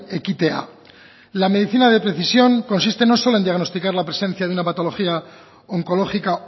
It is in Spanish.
ekitea la medicina de precisión consiste no solo en diagnosticar la presencia de una patología oncológica